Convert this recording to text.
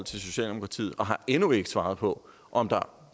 socialdemokratiet og har endnu ikke svaret på om der